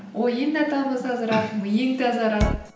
ойың да миың тазарады